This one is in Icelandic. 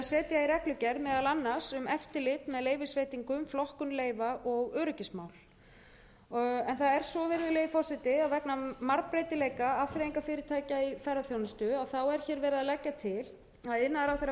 að setja í reglugerð meðal annars um eftirlit með leyfisveitingum flokkun leyfa og öryggismál það er svo virðulegi forseti að vegna margbreytileika afþreyingarfyrirtækja í ferðaþjónustu er hér verið að leggja til að iðnaðarráðherra